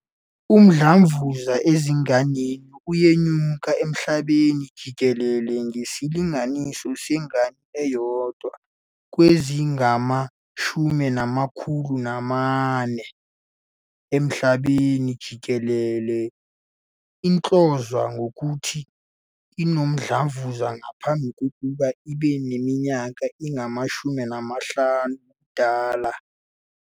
Umdlavuza ezinganeni uyenyuka emhlabeni jikelele, ngesilinganiso sengane eyodwa kwezingama-408 emhlabeni jikelele ihlonzwa ngokuthi inomdlavuza ngaphambi kokuba ibe neminyaka eyi-15 yobudala.